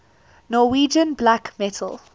norwegian black metal